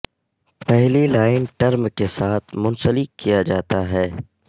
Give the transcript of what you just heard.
پہلی line term کے ساتھ منسلک کیا جاتا ہے